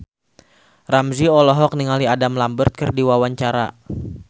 Ramzy olohok ningali Adam Lambert keur diwawancara